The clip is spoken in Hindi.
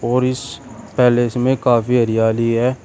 और इस पैलेस में काफी हरियाली है।